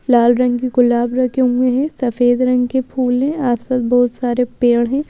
लाल रंग की गुलाब रखे हुए हैं सफेद रंग के फूल है आसपास बहुत सारे पेड़ हैं।